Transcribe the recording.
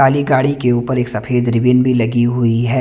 काली गाड़ी के ऊपर एक सफ़ेद रिबीन भी लगी हुई है।